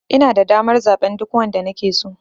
Inada damar zaɓen duk wanda nake so.